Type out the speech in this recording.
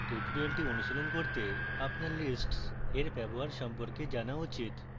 tutorial অনুশীলন করতে আপনার lists এর ব্যবহার সম্পর্কে জানা উচিত